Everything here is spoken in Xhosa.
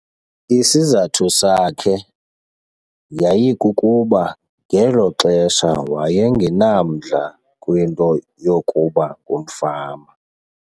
Isizathu sakhe yayikukuba ngelo xesha waye ngenamdla kwinto yokuba ngumfama.